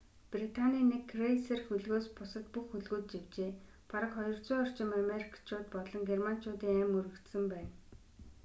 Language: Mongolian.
британийн нэг крейсер хөлгөөс бусад бүх хөлгүүд живжээ бараг 200 орчим америкчууд болон германчуудын амь үрэгдсэн байна